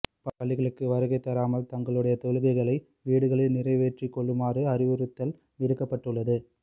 பள்ளிகளுக்கு வருகைதராமல் தங்களுடைய தொழுகைகளை வீடுகளில் நிறைவேற்றிக் கொள்ளுமாறும் அறிவித்தல் விடுக்கப்பட்டுள்ளது